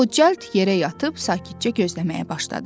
O cəld yerə yatıb sakitcə gözləməyə başladı.